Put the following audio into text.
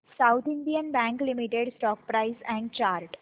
south Indian bank limited stock price and chart